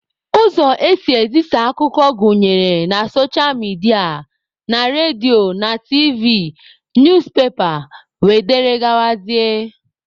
Ụzọ esị ezisa akụkọ gụnyere na socha midia, na redio na tiivi, newspepa wdg.